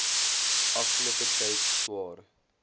afgelope tyd swaar